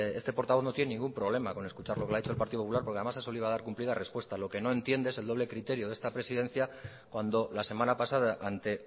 este portavoz no tiene ningún problema con escuchar lo que le ha dicho el partido popular porque además ha salido a dar cumplida repuesta lo que no entiende es el doble criterio de esta presidencia cuando la semana pasada ante